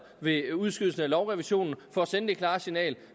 ved udskydelsen af lovrevisionen for at sende det klare signal